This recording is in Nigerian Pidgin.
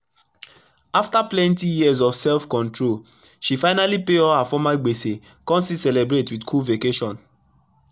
afta plenti years of self control she finally pay all her former gbese kon still celebrate wit cool vacation